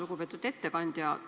Lugupeetud ettekandja!